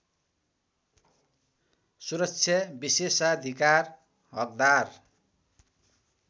सुरक्षा विशेषाधिकार हकदार